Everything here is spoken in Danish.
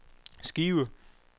skive